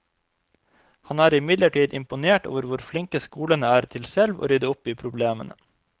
Han er imidlertid imponert over hvor flinke skolene er til selv å rydde opp i problemene.